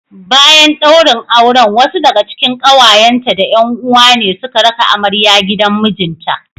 Bayan daurin auren wasu daga cikin kawayenta da 'yan uwa ne suka raka amarya gidan mijinta